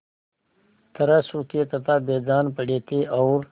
तरह सूखे तथा बेजान पड़े थे और